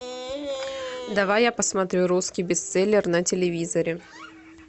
давай я посмотрю русский бестселлер на телевизоре